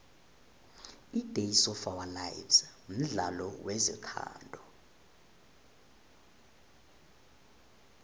idays of ourlife mdlalo wezothando